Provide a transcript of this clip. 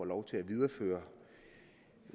lov til at videreføre